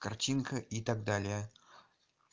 картинка и так далее